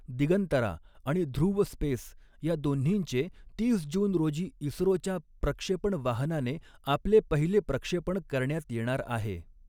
दिगंतरा आणि ध्रुव स्पेस या दोन्हींचे तीस जून रोजी इस़्रोच्या प्रक्षेपण वाहनाने आपले पहिले प्रक्षेपण करण्यात येणार आहे.